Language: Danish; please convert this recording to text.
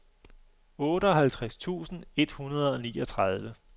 otteoghalvtreds tusind et hundrede og niogtredive